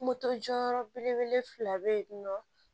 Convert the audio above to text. Moto jɔyɔrɔ belebele fila bɛ yen nɔ